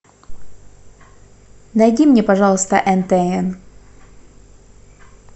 найди мне пожалуйста нтн